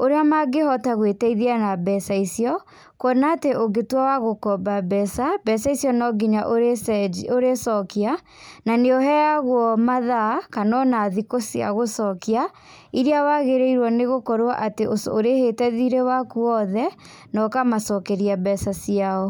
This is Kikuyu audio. ũrĩa mangĩhota gwĩteithia na mbeca icio, kwona atĩ ũngĩtua wagũkomba mbeca, mbeca icio nonginya ũrĩcenjia ũrĩcokia, na nĩ ũheagwo mathaa kana ona thikũ cia gũcokia, iria wagĩrĩirwo nĩgũkorwo atĩ ũco ũrĩhĩte thirĩ waku wothe, na ũkamacokeria mbeca ciao.